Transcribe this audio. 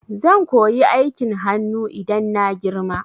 Zan koyi aikin hanu idan na girma